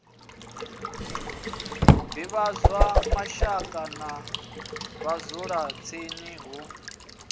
divhadzwa mashaka na vhadzulatsini hu